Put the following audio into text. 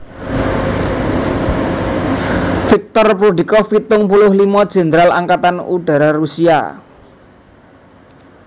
Viktor Prudnikov pitung puluh limo Jèndral Angkatan Udara Rusia